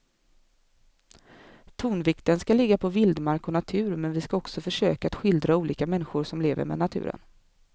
Tonvikten ska ligga på vildmark och natur men vi ska också försöka att skildra olika människor som lever med naturen.